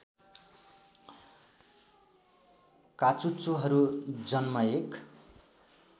काचुच्चोहरु जन्म एक